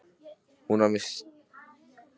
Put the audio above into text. Hún var með rautt hvort sem er.